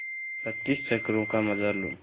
पच्चीस चक्करों का मजा लो